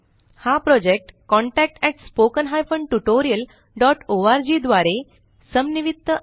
हा project contactspoken tutorialorg द्वारे समन्वित आहे